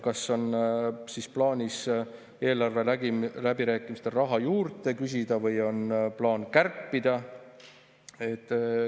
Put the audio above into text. Kas on plaanis eelarveläbirääkimistel raha juurde küsida või on plaan kärpida?